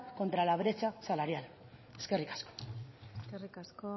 contra la brecha salarial eskerrik asko eskerrik asko